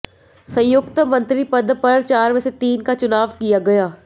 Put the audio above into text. संयुक्त मंत्री पद पर चार में से तीन का चुनाव किया गया